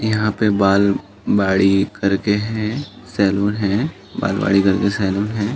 यहाँ पे बाल बाड़ी करके है सेलून है। बालबाड़ी करके सेलून है।